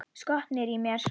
Skotnir í mér?